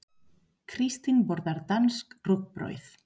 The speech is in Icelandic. Kristín borðar danskt rúgbrauð.